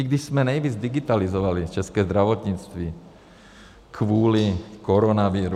I když jsme nejvíc digitalizovali české zdravotnictví kvůli koronaviru.